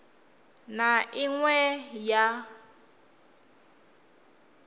na i ṅ we ya